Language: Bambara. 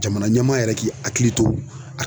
Jamana ɲɛmaa yɛrɛ k'i hakili to a